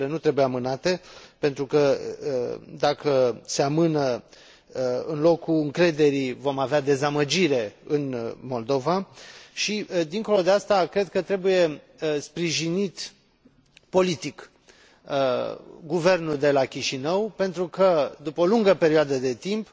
lucrurile nu trebuie amânate pentru că, dacă se amână, în locul încrederii vom avea dezamăgire în Moldova și, dincolo de aceasta, cred că trebuie sprijinit politic guvernul de la Chișinău, pentru că, după o lungă perioadă de timp,